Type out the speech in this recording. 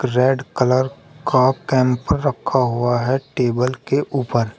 Red colour का camp रखा हुआ है टेबल के ऊपर।